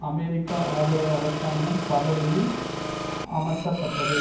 America ஆதரவு அரசாங்கம் பதவியில் அமர்த்தப்பட்டது